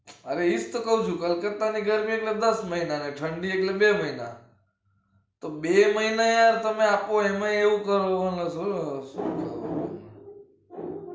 હવે એતો કહું છુ કલકતા ની કેટલા ગરમી એટલે દસ મહિના અને ઠંડી એટલે બે મહિના તો બે મહિના એ તમે આપો યો ય એમાય એવું કરો